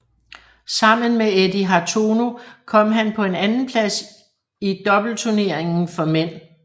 Sammen med Eddy Hartono kom han på en andenplads i doubleturneringen for mænd